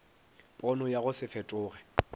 pono ya go se fetoge